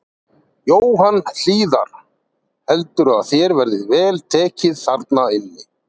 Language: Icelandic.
Jóhann Hlíðar: Heldurðu að þér verði vel tekið þarna inni?